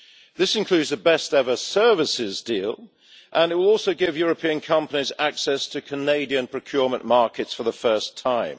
This includes the best ever services deal and it will also give European companies access to Canadian procurement markets for the first time.